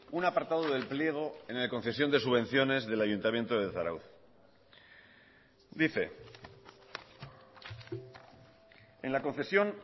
un apartado del pliego en la concesión de subvenciones del ayuntamiento de zarautz dice en la concesión